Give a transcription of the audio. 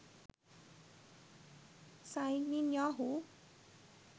signin yahoo